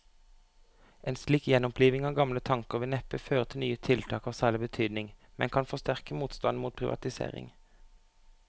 En slik gjenoppliving av gamle tanker vil neppe føre til nye tiltak av særlig betydning, men kan forsterke motstanden mot privatisering.